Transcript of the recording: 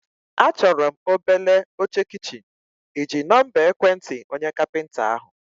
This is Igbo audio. Achọrọ m obele oche kichin, ịji nọmba ekwentị onye kapịnta ahụ?